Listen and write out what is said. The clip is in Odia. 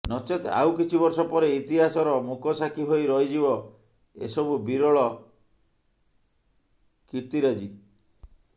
ନଚେତ ଆଉକିଛି ବର୍ଷ ପରେ ଇତିହାସର ମୁକସାଖି ହୋଇ ରହିଯିବ ଏସବୁ ବିରଳ କିର୍ର୍ତ୍ତିରାଜୀ